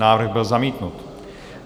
Návrh byl zamítnut.